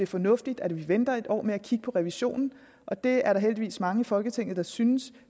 fornuftigt at vi venter en år med at kigge på revisionen og det er der heldigvis mange i folketinget der synes